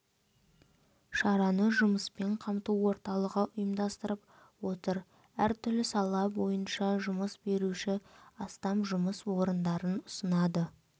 шараны жұмыспен қамту орталығы ұйымдастырып отыр әр түрлі сала бойынша жұмыс беруші астам жұмыс орындарын ұсынады